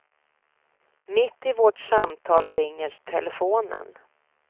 Mitt i vårt samtal ringer telefonen.